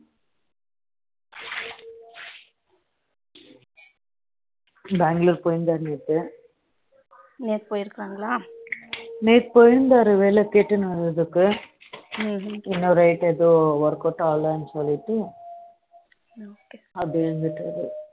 பெங்களூர் போய் இறுதரு நேத்து நேத்து போஇருகைங்களா நேத்து போய் இருந்தார்ரு வேலை கெட்டுனு வரதுக்கு இன்னொரு right எதுவும் work out ஆகல சொல்லிட்டு அப்படியே அங்கையே இருந்துட்டரு